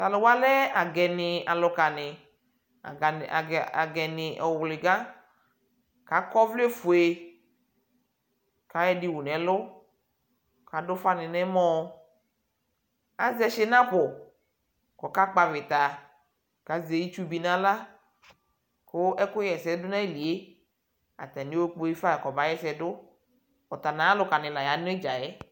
talʋwa lɛ agɛni alʋkani agɛni ɔwlika akɔ ovlɛ ƒʋe kayɔ ɛɖini yɔwʋ nɛlʋ ɛɖini yɔwʋ nɛmɔɔ aƶɛ shinapʋ kʋɔka kpɔ avita kƶɛ itdʋbi nala kʋ ɛkʋ ha ɛsɛɖʋ nayilie atani ayɔkpe ƒa kɔ bahɛsɛɖʋ ata nʋ ayʋalʋka ni la ya nʋ iɖƶaɛ